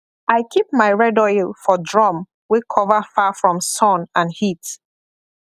i keep my red oil for drum wey cover far from sun and heat